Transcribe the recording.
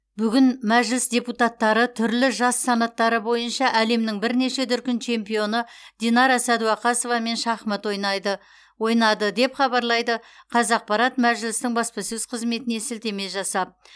бүгін мәжіліс депутаттары түрлі жас санаттары бойынша әлемнің бірнеше дүркін чемпионы динара сәдуақасовамен шахмат ойнайды ойнады деп хабарлайды қазақпарат мәжілістің баспасөз қызметіне сілтеме жасап